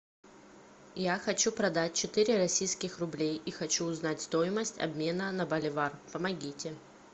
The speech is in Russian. я хочу продать четыре российских рублей и хочу узнать стоимость обмена на боливар помогите